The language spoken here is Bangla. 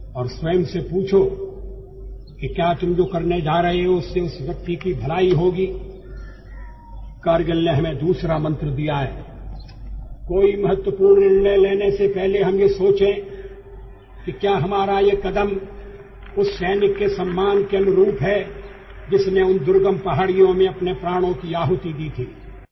অটলজির কন্ঠ সাউন্ড বাইট